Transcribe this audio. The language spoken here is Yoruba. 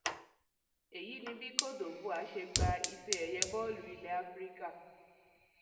èyí ni bí côte divore ṣe gba ifeẹyẹ bọọlù ilẹ africa